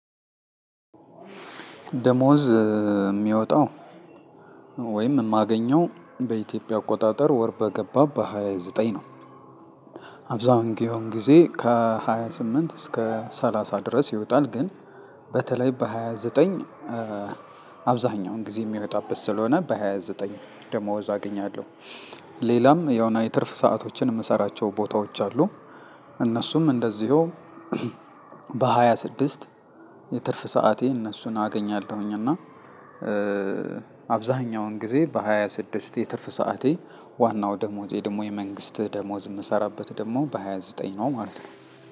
ደሞዝ የሚወጠው ወይም የማገኛው በኢትዮጵያ አቆጣጠር ወር በገባ በሃያ ዘጠኝ ነው። አብዛን ጊዮን ጊዜ ከሃያ ስምንት እስከ ሰላሳ ድረስ ይወጣል ግን በተለይ በሃያ ዘጠኝ አብዛኛውን ጊዜ የሚወጣበት ስለሆነ በሃያ ዘጠኝ ደሞዝ አገኛለሁ። ሌላም ያውና የትርፍ ሰአቶችን የምሰራቸው ቦታዎች አሉ። እነሱም እንደዚሁ በሃያ ስድስት የትርፍ ሰዓቴ እነሱን አገኛለሁኝ። እና አብዛኛውን ጊዜ በሃያ ስድስት የትርፍ ሰዓቴ ዋናው ደሞዜ ደግሞ የመንግስት ደሞዝ የምሰራበት ደግሞ በሃያ ዘጠኝ ነው ማለት ነው።